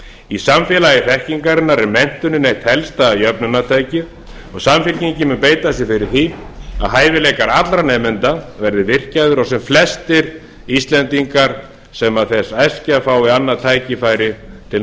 í samfélagi þekkingarinnar en menntunin eitt helsta jöfnunartækið og samfylkingin mun beita sér fyrir því að hæfileikar allra nemenda verði virkjaðir og sem flestir íslendingar sem þess æskja fái annað tækifæri til